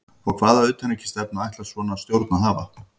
Og hvaða utanríkisstefnu ætlar svona stjórn að hafa?